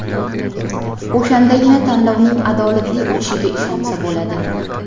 O‘shandagina tanlovning adolatli o‘tishiga ishonsa bo‘ladi.